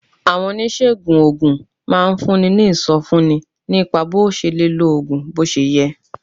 Àwọn oníṣègùn oògùn máa ń fúnni ní ìsọfúnni nípa bó o ṣe lè lo oògùn bó ṣe yẹ